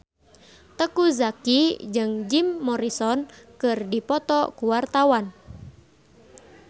Teuku Zacky jeung Jim Morrison keur dipoto ku wartawan